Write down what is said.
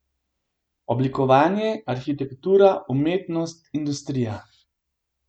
Oblikovanje, arhitektura, umetnost, industrija.